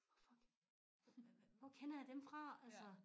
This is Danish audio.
Hvor fuck hvad hvor kender jeg dem fra altså